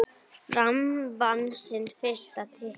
Fram vann sinn fyrsta titil.